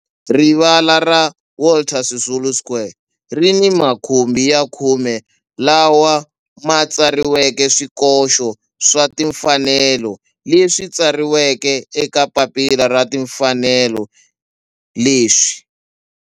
Rivala ra Walter Sisulu Square ri ni makhumbi ya khume lawa ma tsariweke swikoxo swa timfanelo leswi tsariweke eka papila ra timfanelo leswi